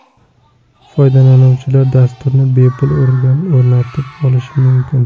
Foydalanuvchilar dasturni bepul o‘rnatib olishi mumkin.